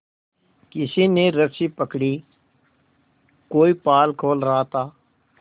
किसी ने रस्सी पकड़ी कोई पाल खोल रहा था